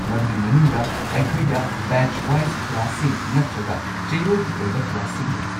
ꯃꯗꯨꯒꯤ ꯃꯅꯨꯡꯗ, ꯑꯩꯈꯣꯏꯗ ꯕꯦꯆ-ꯋꯥꯏꯖ ꯀ꯭ꯂꯥꯁꯁꯤꯡ ꯅꯠꯇ꯭ꯔꯒ ꯆꯌꯣꯜꯒꯤ ꯑꯣꯏꯕ ꯀ꯭ꯂꯥꯁꯁꯤꯡ ꯂꯩ꯫